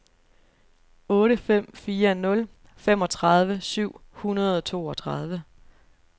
otte fem fire nul femogtredive syv hundrede og toogtredive